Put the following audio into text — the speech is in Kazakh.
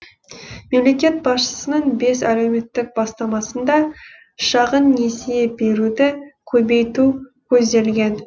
мемлекет басшысының бес әлеуметтік бастамасында шағын несие беруді көбейту көзделген